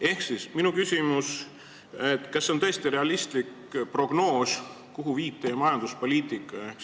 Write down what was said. Ehk siis minu küsimus: kas see on tõesti realistlik prognoos, kuhu viib valitsuse majanduspoliitika?